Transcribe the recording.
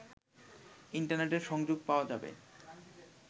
ইন্টারনেটের সংযোগ পাওয়া যাবে